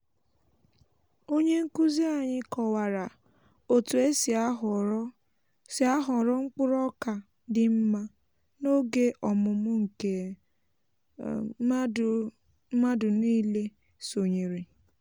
onye nkuzi anyị kọwara otu e si ahọrọ si ahọrọ mkpụrụ oka dị mma n'oge ọmụmụ nke mmadụ nile sonyere